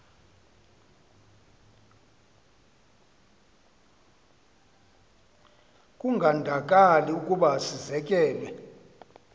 kungandakali ukuba sizekelwe